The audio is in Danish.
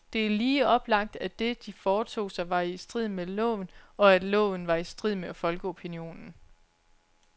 Det er lige oplagt, at det, de foretog sig, var i strid med loven, og at loven var i strid med folkeopinionen.